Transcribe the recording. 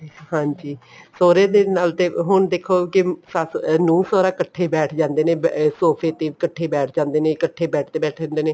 ਹਾਂਜੀ ਸਹੁਰੇ ਦੇ ਨਾਲ ਤੇ ਹੁਣ ਦੇਖੋ ਕੇ ਸੱਸ਼ ਨੂੰਹ ਸਹੁਰਾ ਇੱਕਠੇ ਬੈਠ ਜਾਂਦੇ ਨੇ ਸੋਫ਼ੇ ਤੇ ਇੱਕਠੇ ਬੈਠ ਜਾਂਦੇ ਨੇ ਇੱਕਠੇ bed ਤੇ ਬੈਠੇ ਰਹਿੰਦੇ ਨੇ